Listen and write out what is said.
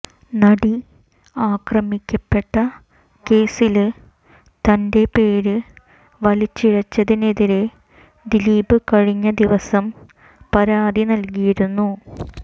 നടി ആക്രമിക്കപ്പെട്ട കേസില് തന്റെ പേര് വലിച്ചിഴച്ചതിനെതിരെ ദിലീപ് കഴിഞ്ഞ ദിവസം പരാതി നല്കിയിരുന്നു